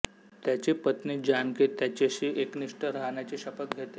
त्याची पत्नी जानकी त्याचेशी एकनिष्ठ राहण्याची शपथ घेते